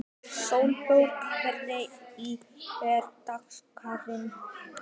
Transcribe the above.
Sólberg, hvernig er dagskráin?